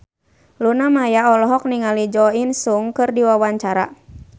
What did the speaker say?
Luna Maya olohok ningali Jo In Sung keur diwawancara